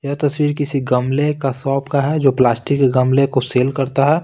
यह तस्वीर किसी गमले का शॉप का है जो प्लास्टिक के गमले को सेल करता है।